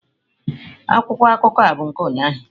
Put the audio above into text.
Akwụkwọ akụkọ a bụ nke ụnyahụ.